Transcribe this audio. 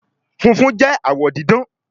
fúnfún jé awọ didán